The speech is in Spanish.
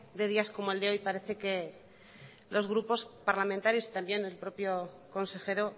de días como el de hoy parece que los grupos parlamentarios y también el propio consejero